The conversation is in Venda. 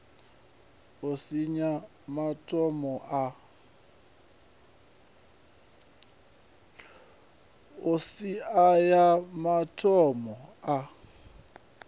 ya iks aya mathomo a